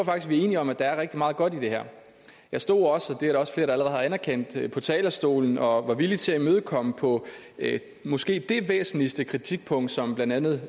vi er enige om at der er rigtig meget godt i det her jeg stod også det er der også flere der allerede har anerkendt på talerstolen og var villig til at imødekomme på måske det væsentligste kritikpunkt som blandt andet